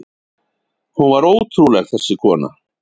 Hún var ótrúleg, þessi kona.